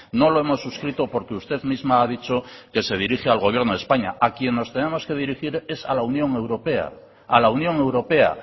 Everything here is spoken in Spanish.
no lo hemos suscrito porque usted misma ha dicho que se dirige al gobierno de españa a quien nos tenemos que dirigir es a la unión europea a la unión europea